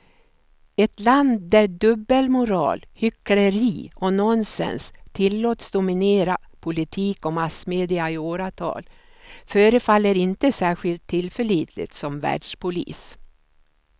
Ett land där dubbelmoral, hyckleri och nonsens tillåts dominera politik och massmedia i åratal förefaller inte särskilt tillförlitligt som världspolis.